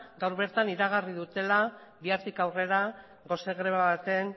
gaur bertan eragarri dutela bihartik aurrera gose greba baten